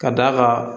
Ka d'a kan